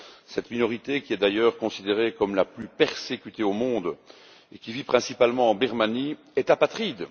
Cette minorité, qui est d'ailleurs considérée comme la plus persécutée au monde et qui vit principalement en Birmanie, est apatride.